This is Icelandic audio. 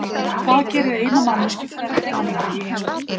Hvað gerir eina manneskju fremri annarri í heimspeki?